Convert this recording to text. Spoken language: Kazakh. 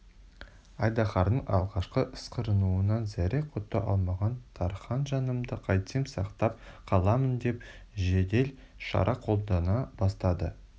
айдаһардың алғашқы ысқырынуынан зәре-құты қалмаған тархан жанымды қайтсем сақтап қаламын деп жедел шара қолдана бастады